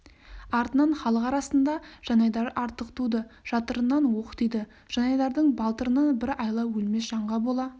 артынан халық арасында жанайдар артық туды жатырынан оқ тиді жанайдардың балтырынан бір айла өлмес жанға бола